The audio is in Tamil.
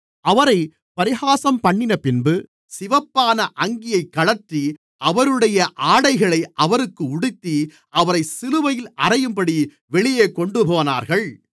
அவரைப் பரிகாசம்பண்ணினபின்பு சிவப்பான அங்கியைக் கழற்றி அவருடைய ஆடைகளை அவருக்கு உடுத்தி அவரை சிலுவையில் அறையும்படி வெளியே கொண்டுபோனார்கள்